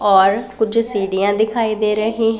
और कुछ सीढ़ियां दिखाई दे रहीं--